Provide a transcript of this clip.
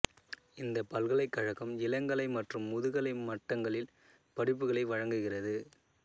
இந்தப் பல்கலைக்கழகம் இளங்கலை மற்றும் முதுகலை மட்டங்களில் படிப்புகளை வழங்குகிறது